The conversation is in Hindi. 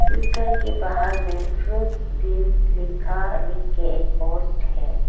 इस घर के बाहर में फ्रूट्स बींस लिखा लिख के एक पोस्ट है।